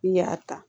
N'i y'a ta